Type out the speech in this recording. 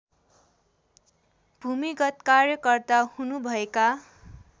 भूमिगत कार्यकर्ता हुनुभएका